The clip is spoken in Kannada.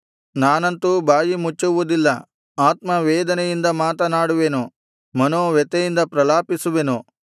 ನಾನಂತೂ ಬಾಯಿಮುಚ್ಚುವುದಿಲ್ಲ ಆತ್ಮವೇದನೆಯಿಂದ ಮಾತನಾಡುವೆನು ಮನೋವ್ಯಥೆಯಿಂದ ಪ್ರಲಾಪಿಸುವೆನು